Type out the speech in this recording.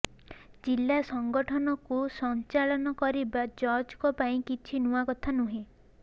ଜିଲ୍ଲା ସଙ୍ଗଠନକୁ ସଂଚାଳନ କରିବା ଜର୍ଜଙ୍କ ପାଇଁ କିଛି ନୂଆକଥା ନୁହେଁ